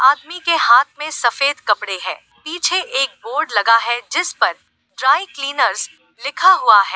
आदमी के हाथ में सफेद कपड़े हैं पीछे एक बोर्ड लगा है जिस पर ड्राई क्लीनर्स लिखा हुआ है।